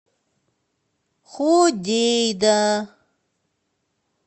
ходейда